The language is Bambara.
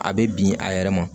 A bɛ bin a yɛrɛ ma